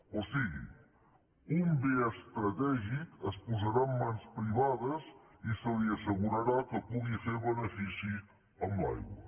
o sigui un bé estratègic es posarà en mans privades i se li assegurarà que pugui fer benefici amb l’aigua